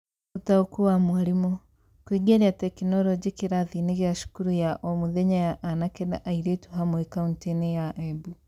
Ũtaũku wa mwarimũ: Kũingĩria tekinoronjĩ kĩrathi-inĩ gĩa cukuru ya o mũthenya ya anake na airĩtu hamwe kauntĩ-inĩ ya Embu".